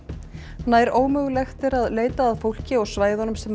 nær ómögulegt er að leita að fólki á svæðunum sem